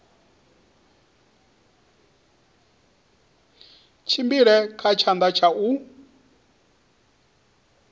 tshimbile kha tshanḓa tsha u